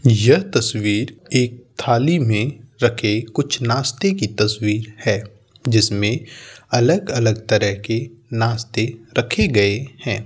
यह तस्वीर एक थाली में रखे कुछ नास्ते की तस्वीर है जिसमें अलग-अलग तरह के नास्ते रखे गये हैं।